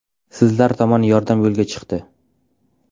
Sizlar tomon yordam yo‘lga chiqdi.